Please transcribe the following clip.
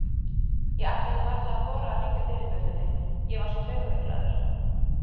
Ég ætlaði varla að þora að hringja dyrabjöllunni, ég var svo taugaveiklaður.